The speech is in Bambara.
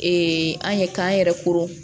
an ye k'an yɛrɛ koron